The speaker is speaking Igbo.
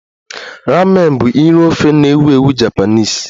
Ramen bụ nri ofe na-ewu ewu Japanese